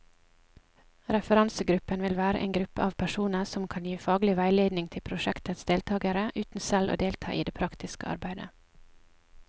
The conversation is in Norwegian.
Referansegruppen vil være en gruppe av personer som kan gi faglig veiledning til prosjektets deltagere, uten selv å delta i det praktiske arbeidet.